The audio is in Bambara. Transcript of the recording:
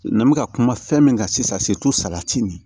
N bɛ ka kuma fɛn min kan sisan salati nin